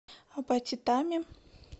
апатитами